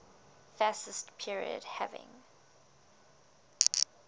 fascist period having